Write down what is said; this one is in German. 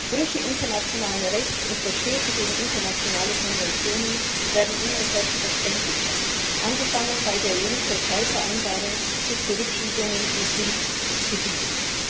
Brüche internationalen Rechts und Verstöße gegen internationale Konventionen werden immer selbstverständlicher, angefangen bei der EU Türkei Vereinbarung bis zu Zurückschiebungen in Kriegsgebiete.